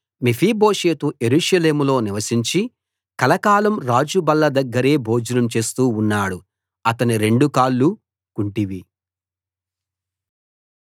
మెఫీబోషెతు యెరూషలేములో నివసించి కలకాలం రాజు బల్ల దగ్గరే భోజనం చేస్తూ ఉన్నాడు అతని రెండు కాళ్ళూ కుంటివి